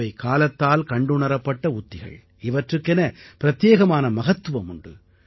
இவை காலத்தால் கண்டுணரப்பட்ட உத்திகள் இவற்றுக்கென பிரதெயேகமான மகத்துவம் உண்டு